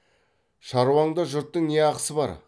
шаруаңда жұрттың не ақысы бар